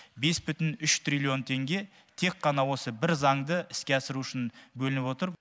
бес бүтін үш триллион теңге тек қана осы бір заңды іске асыру үшін бөлініп отыр